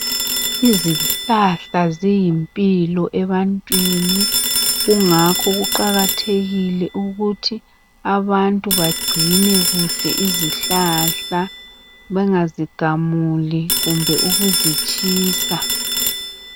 Izihlahla ziyimpilo ebantwini kungakho kuqakathekile ukuthi abantu bagcine kuhle izihlahla bengazigamuli kumbe ukuzitshisa